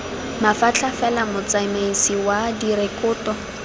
mafatlha fela motsamaisi wa direkoto